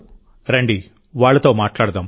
రండివాళ్ళతో మాట్లాడదాం